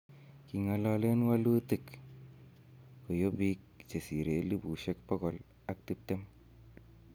King'ololen wolutik koyob biik chesire elipusiek bogol at tiptem